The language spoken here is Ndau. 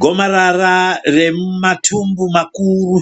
Gomarara remumatumbu makuru,